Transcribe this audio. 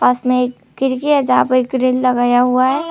पास में एक खिड़की है जहां पे ग्रील लगाया हुआ है।